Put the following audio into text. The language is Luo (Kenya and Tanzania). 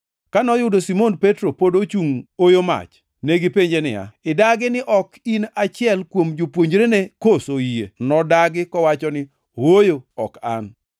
Kane oyudo Simon Petro pod ochungʼ oyo mach, negipenje niya, “Idagi ni ok in achiel kuom jopuonjrene, koso iyie?” Nodagi kowacho niya, “Ooyo, ok an.”